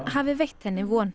hafi veitt henni von